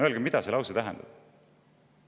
" Öelge, mida see lause tähendab.